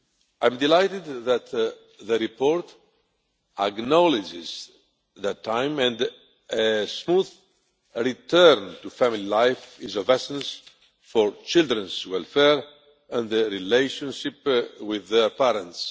I am delighted that the report acknowledges that time and a smooth return to family life is of essence for children's welfare and their relationship with their parents.